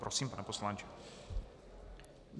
Prosím, pane poslanče.